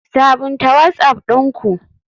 Sabunta whatsapp ɗin ku.